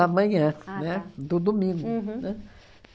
manhã, né? Do domingo. Uhum. Né?